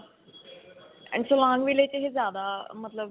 and ਜਿਆਦਾ ਮਤਲਬ.